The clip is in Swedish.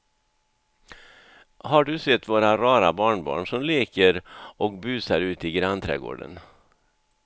Har du sett våra rara barnbarn som leker och busar ute i grannträdgården!